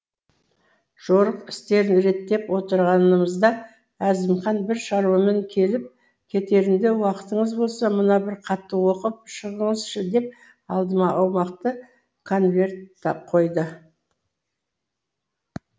жорық істерін реттеп отырғанымызда әзімхан бір шаруамен келіп кетерінде уақытыңыз болса мына бір хатты оқып шығыңызшы деп алдыма аумақты конверт қойды